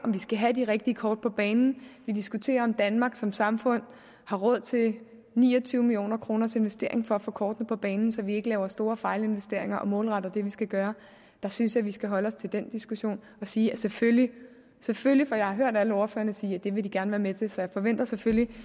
vi skal have de rigtige kort på banen vi diskuterer om danmark som samfund har råd til en ni og tyve millioner kroners investering for at få kortene på banen så vi ikke laver store fejlinvesteringer og målretter det vi skal gøre så synes jeg vi skal holde os til den diskussion og sige selvfølgelig selvfølgelig for jeg har hørt alle ordførerne sige at det vil de gerne være med til så jeg forventer selvfølgelig